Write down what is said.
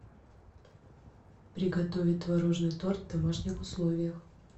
приготовить творожный торт в домашних условиях